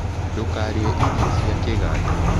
Ndũkarĩe irio cia kĩganda